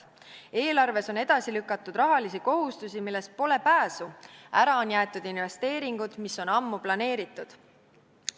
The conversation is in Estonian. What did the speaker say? Eelarves on edasi lükatud rahalisi kohustusi, millest pole pääsu, ära on jäetud investeeringud, mis on ammu planeeritud.